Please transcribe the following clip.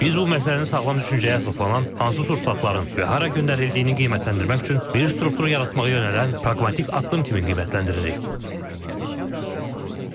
Biz bu məsələni sağlam düşüncəyə əsaslanan hansı sursatların və hara göndərildiyini qiymətləndirmək üçün bir struktur yaratmağa yönələn praqmatik addım kimi qiymətləndiririk.